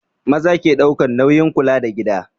Maza ke ɗaukan nauyin kula da gida